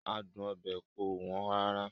Adun obe kò wọ́n rárá.